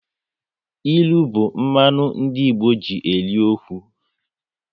Ilu bụ mmanụ ndị Igbo ji eri okwu